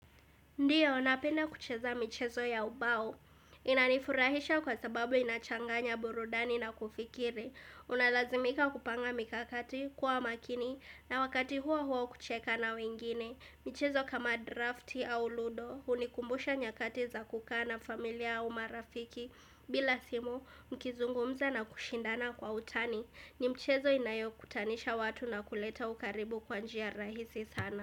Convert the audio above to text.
Ndiyo, napenda kucheza michezo ya ubao. Inanifurahisha kwa sababu inachanganya burudani na kufikiri. Unalazimika kupanga mikakati, kuwa makini, na wakati huo huwa wa kucheka na wengine. Michezo kama drafti au ludo, hunikumbusha nyakati za kukaa na familia au marafiki. Bila simu, mkizungumza na kushindana kwa utani. Ni mchezo inayokutanisha watu na kuleta ukaribu kwa njia rahisi sana.